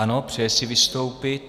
Ano, přeje si vystoupit.